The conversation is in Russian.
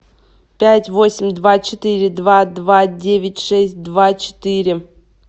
пять восемь два четыре два два девять шесть два четыре